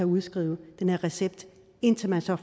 udskrive den her recept indtil man så